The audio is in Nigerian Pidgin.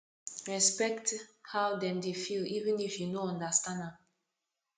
respekt how dem dey feel even if yu no understand am